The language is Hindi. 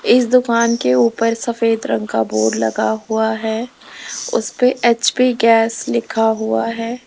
इस दुकान के ऊपर सफेद रंग का बोर्ड लगा हुआ है उस पे एच_पी गैस लिखा हुआ है।